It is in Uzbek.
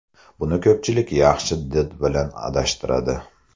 Buni ko‘pchilik yaxshi did bilan adashtiradi.